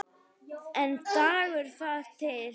En dugar það til?